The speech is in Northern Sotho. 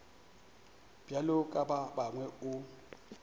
bjalo ka ba bangwe o